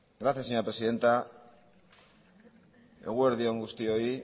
gracias señora presidenta eguerdi on guztioi